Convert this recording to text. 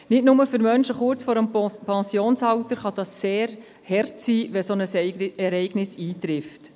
Nicht nur für Menschen kurz vor dem Pensionsalter kann es sehr hart sein, wenn ein solches Ereignis eintritt.